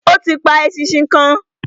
Ó ti pa eṣinṣin kan.